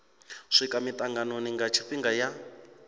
swika mitanganoni nga tshifhinga ya